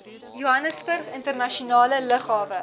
johannesburgse internasionale lughawe